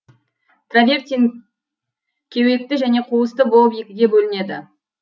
травертин кеуекті және қуысты болып екіге бөлінеді